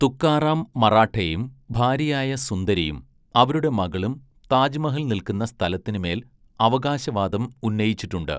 തുകാറാം മറാഠെയും ഭാര്യയായ സുന്ദരിയും അവരുടെ മകളും താജ്മഹൽ നിൽക്കുന്ന സ്ഥലത്തിനുമേൽ അവകാശവാദം ഉന്നയിച്ചിട്ടുണ്ട്.